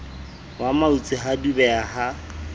wa mautse ha dubeha ha